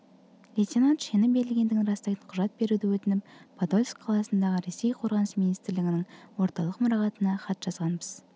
лейтенант шені берілгендігін растайтын құжат беруді өтініп подольск қаласындағы ресей қорғаныс министрлігінің орталық мұрағатына хат жазғанбыз